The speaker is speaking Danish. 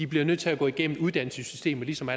bliver nødt til at gå igennem uddannelsessystemet ligesom